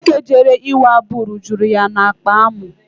Nwoke jere ịwa abụ rujuru ya n'akpa amụ.